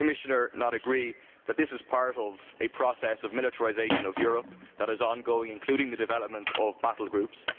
Would the Commissioner not agree that this is part of a process of militarisation of Europe that is ongoing and includes the development of battle groups?